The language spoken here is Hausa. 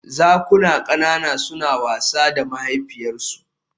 Zakuna ƙanana suna wasa da mahaifiyarsu